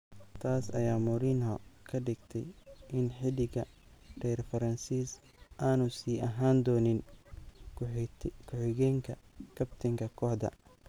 Taas ayaa Mourinho ka dhigtay in xiddiga reer Faransis aanu sii ahaan doonin ku xigeenka kabtanka kooxda.